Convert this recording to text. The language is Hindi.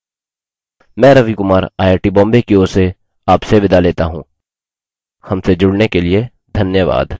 * मैं Ravi Kumar I I T Bombay की ओर से आपसे विदा लेता हूँ हमसे जुड़ने के लिए धन्यवाद